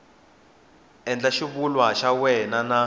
endla xivulwa xa wena n